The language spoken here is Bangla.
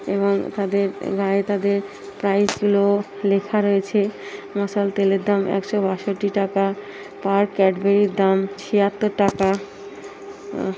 এবং তাদের গায়ে তাদের প্রাইস গুল লেখা রয়েছে। মশাল তেলের দাম একশো বাষট্টি টাকা পার ক্যাডবেরি -এর দাম ছিয়াত্তর টাকা। আহ--